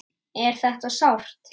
Er þetta sárt?